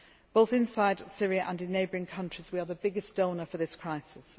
is over. Both inside Syria and in neighbouring countries, we are the biggest donor in this